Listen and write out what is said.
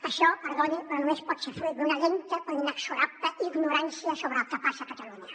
això perdoni però només pot ser fruit d’una lenta però inexorable ignorància sobre el que passa a catalunya